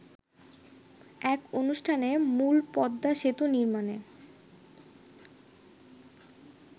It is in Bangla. এক অনুষ্ঠানে মূলপদ্মা সেতু নির্মাণে